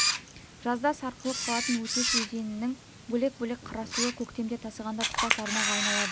жазда сарқылып қалатын өтеш өзенінің бөлек-бөлек қарасуы көктемде тасығанда тұтас арнаға айналады